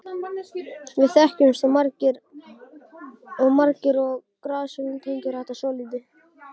Við þekkjumst margir og Grass-vélin tengir þetta svolítið.